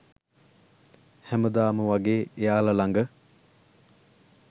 හැමදාම වගේ එයාලා ළඟ